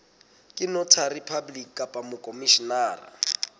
ke notary public kapa mokhomishenara